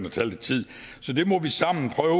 og tage lidt tid så det må vi sammen prøve